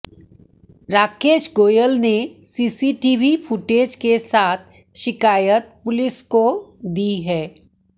राकेश गोयल ने CCTV footage के साथ शिकायत पुलिस को दी है